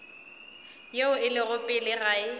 yeo e lego pele ga